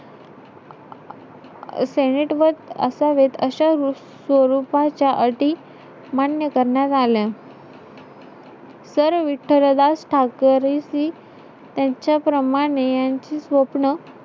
Senate वर असावेत. अशा स्वरूपाच्या अटी मान्य करण्यात आल्या. sir विठ्ठलदास टाकरिसी, त्यांच्या प्रमाणे यांची स्वप्न,